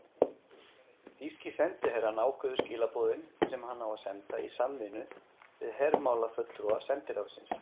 Þýski sendiherrann ákveður skilaboðin, sem hann á að senda, í samvinnu við hermálafulltrúa sendiráðsins.